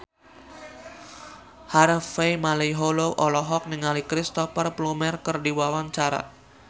Harvey Malaiholo olohok ningali Cristhoper Plumer keur diwawancara